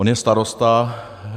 On je starosta.